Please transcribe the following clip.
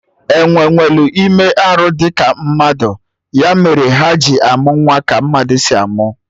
Enwee nwelụ ime arụ dị ka mmadụ, ya mere ha ji amụ nwa ka mmadụ si amụ